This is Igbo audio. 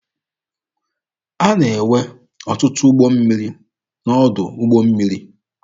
A na-enwe ọtụtụ ụgbọ mmiri n'ọdụ ụgbọ mmiri.